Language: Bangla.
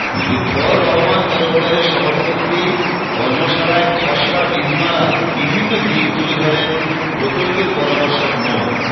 লুৎফর রহমান তরফদারের সভাপতিত্বে কর্মশালায় খসড়া বিধিমালার বিভিন্ন দিক তুলে ধরেন প্রকল্পের পরামর্শক মো